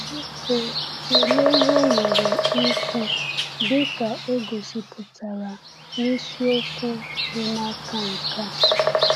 Biko tụlee ihe o nwere ikwu dị ka e gosipụtara na isiokwu dị n’aka nke a.